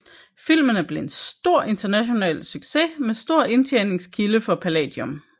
Filmene blev en stor international succes og stor indtjeningskilde for Palladium